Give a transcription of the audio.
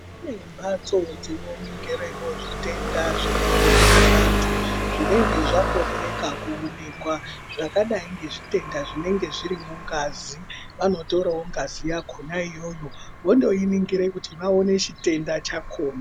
Kune mbatso dzinoningirewo zvitenda zvinenge zvine vantu zvinege zvakorereka kuonekwa zvakadai ngezvitenda zvinenge zviri mungazi. Vanotorawo ngazi yakona iyoyo votoiningira kuti vaone chitenda chakona.